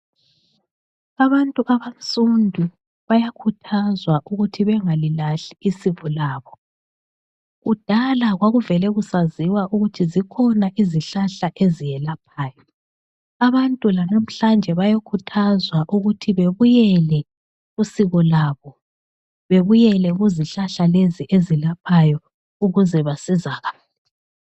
Abantu abansundu bayakhuthazwa ukuthi bengalilahli isiko labo, kudala kwakuvele kusaziwa ukuthi zikhona izihlahla eziyelaphayo, abantu lanamhlanje bayakhuthazwa ukuthi bebuyele kusiko labo, bebuyele kuzihlahla lezi eziyelaphayo ukuze basizakale.